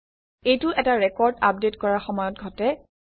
এইটো এটা record update কৰাৰ সময়ত ঘটে